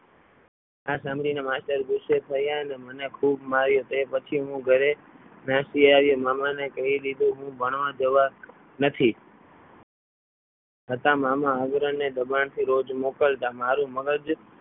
આ સાંભળીને માસ્ટર ગુસ્સે થયા અને મને ખૂબ માર્યો તે પછી હું ઘરે નાસી આવ્યો મામા ને કહી દીધું. હું ભણવા જવા નથી છતાં મામા આવરણને દબાણથી રોજ મોકલતા મારું મગજ